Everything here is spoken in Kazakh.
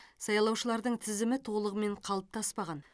сайлаушылардың тізімі толығымен қалыптаспаған